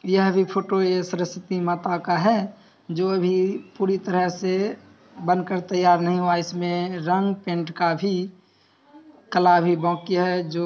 यह भी फोटो है सरस्वती माता का है जो अभी पूरी तरह से बन कर तयार नहीं हुआ है इस मे रंग पेन्ट का भी कला अभी बाकी है जो--